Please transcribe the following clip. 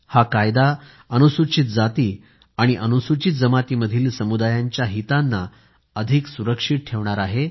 हा कायदा अनुसूचित जाती आणि अनुसूचित जमातीमधील समुदायांच्या हितांना अधिक सुरक्षित ठेवणार आहे